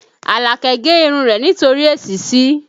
Alake gé irun rẹ̀ nítorí èsísí